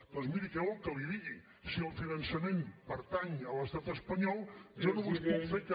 doncs miri què vol que li digui si el finançament pertany a l’estat espanyol jo només puc